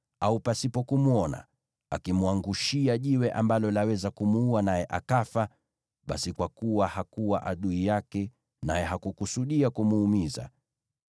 au, pasipo kumwona, akimwangushia jiwe ambalo laweza kumuua naye akafa, basi kwa kuwa hakuwa adui yake naye hakukusudia kumuumiza,